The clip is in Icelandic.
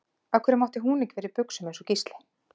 Af hverju mátti hún ekki vera í buxum eins og Gísli?